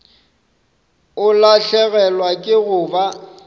o lahlegelwa ke go ba